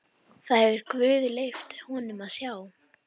Það hefur guð leyft honum að sjá.